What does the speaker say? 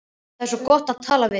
Það er svo gott að tala við þig.